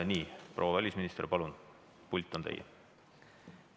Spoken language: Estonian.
Nii, proua välisminister, palun, pult on teie!